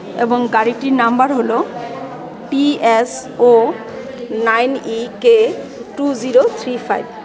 এবং গাড়িটির নাম্বার হল T S O nine E K two zero three five .